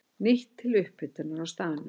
Nýtt til upphitunar á staðnum.